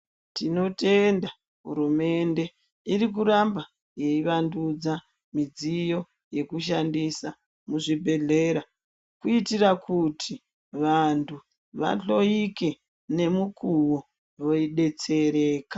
Tinotenda hurumende, irikuramba iyivandudza midziyo yekushandisa muzvibhedhlera kuitira kuti vantu vahloyike nemumuwo veyidetsereka.